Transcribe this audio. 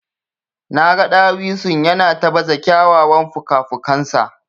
Naga dawisun yana ta baza kyawawan fukafukansa.